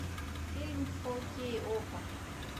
фильм фо кей окко